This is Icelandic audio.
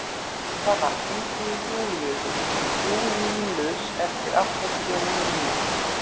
Ívana, hringdu í Júlílus eftir áttatíu og níu mínútur.